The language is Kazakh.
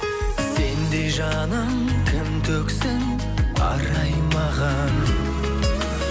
сендей жаным кім төксін арай маған